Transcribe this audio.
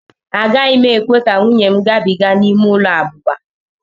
Agaghị m ekwe ka nwunye m gabiga n'ime ụlọ abụba.